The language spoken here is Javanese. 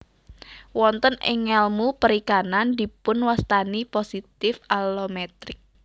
Wonten ing ngelmu perikanan dipunwastani positive allometric